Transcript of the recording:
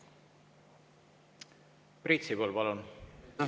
Priit Sibul, palun!